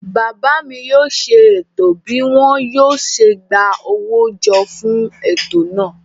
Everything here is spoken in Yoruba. Bàbá mi yóò ṣe ètò bí wọn yóò ṣe gba owó jọ fún ètò náà.